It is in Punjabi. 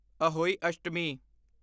ਅਹੋਈ ਅਸ਼ਟਮੀ